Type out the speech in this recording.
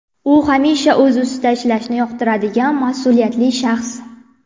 U hamisha o‘z ustida ishlashni yoqtiradigan mas’uliyatli shaxs.